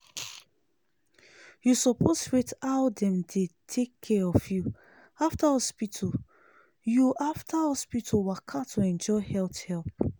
you suppose rate how dem take care of you after hospital you after hospital waka to enjoy health help.